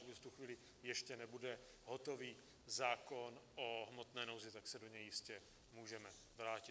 Pokud v tu chvíli ještě nebude hotový zákon o hmotné nouzi, tak se k němu jistě můžeme vrátit.